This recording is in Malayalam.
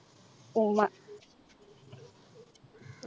ഉമ്മ